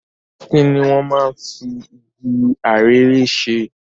Kini wọ́n máa ń fi igi arère ṣe?